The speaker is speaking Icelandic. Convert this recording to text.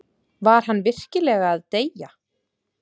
Var hann virkilega að deyja?